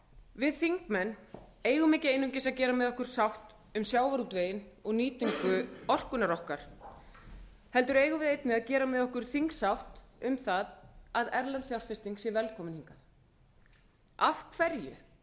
við þingmenn eigum ekki einungis að gera með okkur sátt um sjávarútveginn og nýtingu orkunnar okkar heldur eigum við einnig að gera með okkur þingsátt um það að erlend fjárfesting sé velkomin hingað af hverju